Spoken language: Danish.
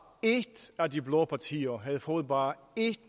et af de blå partier havde fået bare en